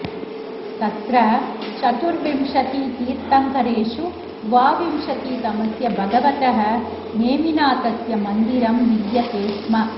तत्र चतुर्विंशतितीर्थङ्करेषु द्वाविंशतितमस्य भगवतः नेमिनाथस्य मन्दिरं विद्यते स्म